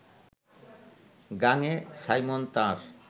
গাঙে Simon তাঁর